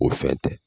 O fɛn tɛ